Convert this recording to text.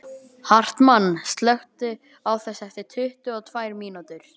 Hartmann, slökktu á þessu eftir áttatíu og tvær mínútur.